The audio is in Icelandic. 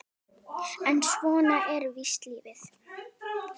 En svona er víst lífið.